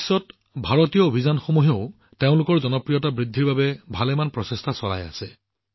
বিশ্বজুৰি চলা ভাৰতীয় অভিযানেও ইয়াৰ জনপ্ৰিয়তা বৃদ্ধি কৰিবলৈ যথেষ্ট প্ৰচেষ্টা চলাই আছে